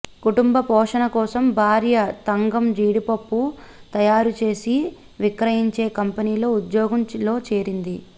కుటుంబ పోషణ కోసం భార్య తంగం జీడిపప్పు తయారు చేసి విక్రయించే కంపెనీలో ఉద్యోగంలో చేరింది